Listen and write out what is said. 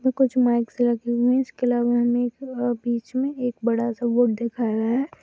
कुछ माइक्स लगे हुए हैं इसके अलावा हमें एक आ बीच मे एक बड़ा सा बोर्ड दिखाया गया है।